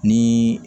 Ni